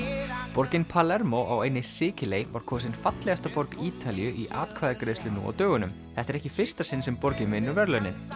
borgin Palermo á eynni Sikiley var kosin fallegasta borg Ítalíu í atkvæðagreiðslu nú á dögunum þetta er ekki í fyrsta sinn sem borgin vinnur verðlaunin